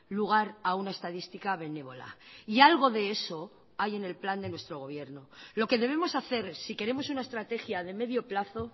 lugar a una estadística benévola y algo de eso hay en el plan de nuestro gobierno lo que debemos hacer si queremos una estrategia de medio plazo